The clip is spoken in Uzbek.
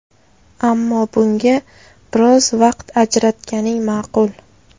Ammo bunga biroz vaqt ajratganing ma’qul.